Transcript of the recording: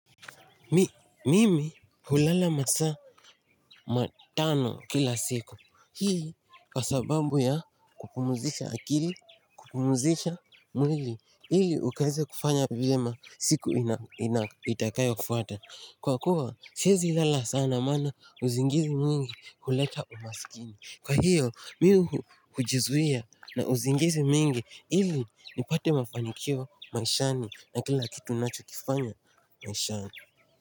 Mimi hulala masaa matano kila siku. Hii ni kwa sababu ya kupumzisha akili, kupumzisha mwili. Ili ukaweze kufanya vyema siku ina itakayofuata. Kwa kuwa siezi lala sana maana usingizi mwingi huleta umasikini. Kwa hiyo mi hujizuia na usingizi mwingi. Ili nipate mafanikio maishani na kila kitu ninachokifanya maishani.